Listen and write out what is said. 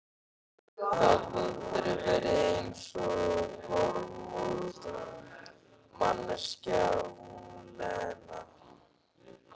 Gat aldrei verið eins og normal manneskja, hún Lena!